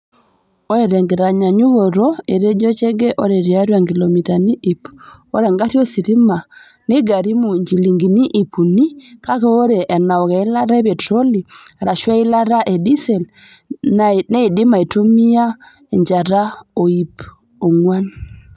Oree Tenkitanyanyukoto, Etejoo Chege oree tiatu inkilomitani iiip, oree egarii ositima neigarimu injilingini iip unii kake oree anaok eilata e petiroli aarashu eilate e disel naidim aitumia enjaata o ipii onguaan.